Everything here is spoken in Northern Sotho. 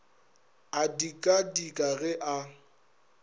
a dika dika ge a